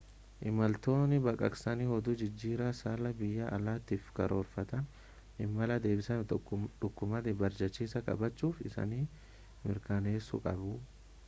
imaltoonni baqaqsanii hodhuu jijjiirraa saalaa biyya alaatiif karoorfatan imala deebisaatiif dookumantii barbaachisaa qabachuu isaanii mirkaneessuu qabu